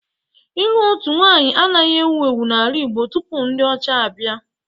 Ịlụ otu nwaanyị anaghị ewu ewu n'ala Igbo tupu ndị ọcha abịa